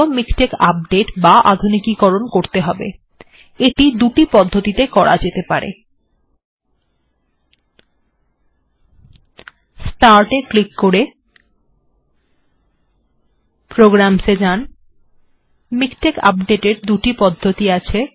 MiKTeX আপডেটের দুটি পদ্ধতি আছে